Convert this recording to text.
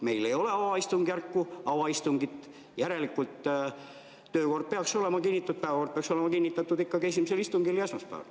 Meil ei ole avaistungit, päevakord peaks olema kinnitatud ikkagi esimesel istungil ja esmaspäeval.